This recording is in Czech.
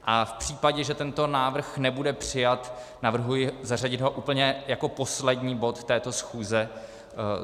A v případě, že tento návrh nebude přijat, navrhuji zařadit ho úplně jako poslední bod této schůze.